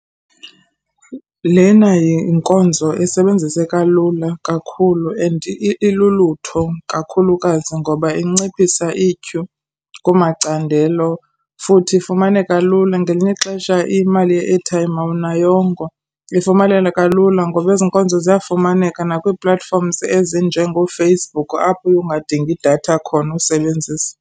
Lena yinkonzo esebenziseka lula kakhulu and ilulutho kakhulukazi ngoba inciphisa ityhu kumacandelo futhi ifumaneka lula. Ngelinye ixesha imali ye-airtime awunayongo. Ifumaneka lula ngoba ezi nkonzo ziyafumaneka nakwii-platforms ezinjengooFacebook apho uye ungadingi idatha khona usebenzisa.